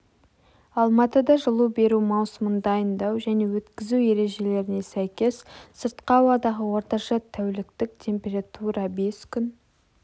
алматыда жылу беру маусымын дайындау және өткізу ережелеріне сәйкес сыртқы ауадағы орташа тәуліктік температура бес күн